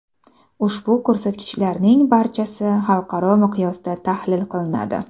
Ushbu ko‘rsatkichlarning barchasi xalqaro miqyosda tahlil qilinadi.